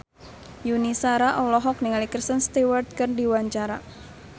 Yuni Shara olohok ningali Kristen Stewart keur diwawancara